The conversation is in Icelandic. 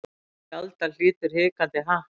Sjaldan hlýtur hikandi happ.